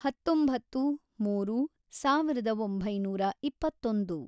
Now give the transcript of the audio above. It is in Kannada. ಹತ್ತೊಂಬತ್ತು, ಮೂರು, ಸಾವಿರದ ಒಂಬೈನೂರ ಇಪ್ಪತ್ತೊಂದು